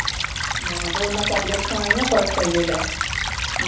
ਹਾਂ ਤੇ ਓਹਦੇ ਨਾਲ ਤੁਹਾਡੀ ਅੱਖਾਂ ਦਾ ਫਰਕ ਪੈਜੇ ਗਾ, ਹਾਂ।